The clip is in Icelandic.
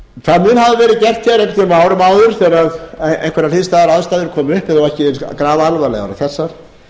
á árum áður þegar einhverjar hliðstæðar aðstæður komu upp þó að þær hafi ekki verið jafn grafalvarlegar og þessar